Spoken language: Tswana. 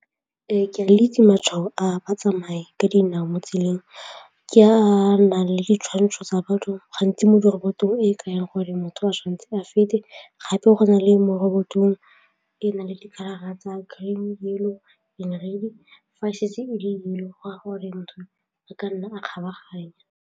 Ee, ke a le itse matshwao a batsamaya ka dinao mo tseleng ke a a nang le ditshwantsho tsa batho gantsi mo dirobotong e e kayang gore motho a tshwantse a feta gape go na le mo robotong e e nang le di-colour-ra tsa green, yellow and red-i go a gore motho a ka nna a kgabaganya.